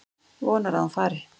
Vonar að hún fari.